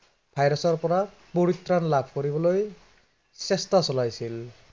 virus ৰ পৰা পৰিত্ৰাণ লাভ কৰিবলৈ, চেষ্টা চলাইছিল।